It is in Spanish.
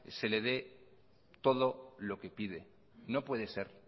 se le de todo lo que pide no puede ser